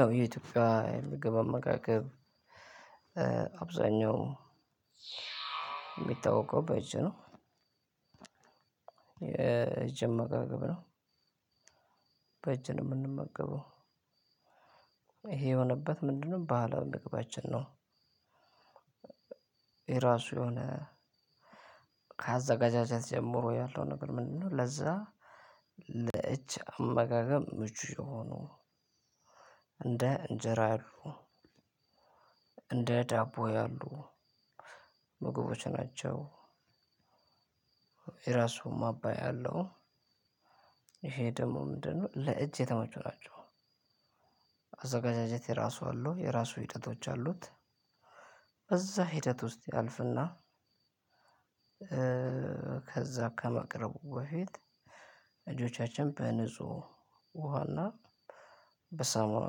ያው የኢትዮጵያ ምግብ አመጋገብ አብዛኛው ሚታወቀው በእጅ ነው። የጅ አመጋገብ ነው በእጅ ነው ምንመገበው እሄ የሆነበት ምንድነው? ባህላዊ ምግባችን ነው። የራሱ የሆነ ካዘጋጃጀት ጀምሮ ያለው ነገር ምንድነው? ለዛ ለእጅ አመጋገብ ምቹ የሆኑ እንደ እንጀራ አሉ እንደ ዳቦ ያሉ ምግቦች ናቸው። የራሱም ማባያ አለው ይሄ ደሞ ምንድነው? ለእጅ የተመቹ ናቸው። አዘገጃጀት የራሱ አለው የራሱ ሂደቶች አሉት እዛ ሂደት ውስጥ ያልፍና። ከዛ ከመቅረቡ በፊት እጆቻችን በንጹህ ውሃና በሳሙና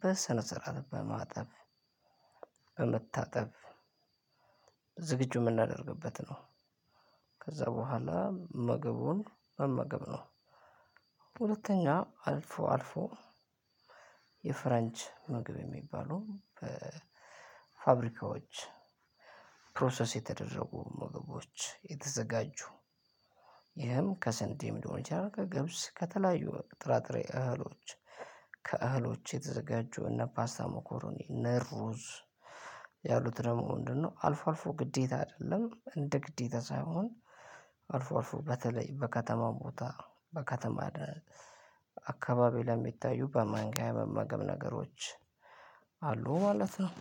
በስነ ስርዓት በማጠብ በመታጠብ ዝግጁ ምናደርግበት ነው። ከዛ በኋላ ምግቡን መመገብ ነው። ሁለተኛ አልፎ አልፎ የፍራንች መግብ የሚባሉ ፋብሪካዎች ፕሮሰስ የተደረጉ ምግቦች የተዘጋጁ። ይህም ከስንዴም ሊሆን ይችላል። ከገብስ ከተለያዩ ጥራጥሬ እህሎች ከእህሎች የተዘጋጁ እነ ፓስታ ሞኮሮኒ እነ ሩዝ ያሉት ደግሞ ምንድነው? አልፎ አልፎ ግዴታ አደለም እንደ ግዴታ ሳይሆን። አልፎ አልፎ በተለይ በከተማው ቦታ በከተማ አካባቢ ለሚታዩ በማንኪያ የመመገብ ነገሮች አሉ ማለት ነው።